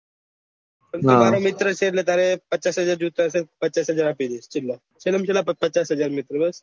તું મારા મિત્ર છે એટલે તારેં પચચાસ હાજર જોયતા હોય તો પચચાસ હાજર આપી દઉં છેલ્લે માં છેલ્લે પચચાસ હજાર મિત્ર બસ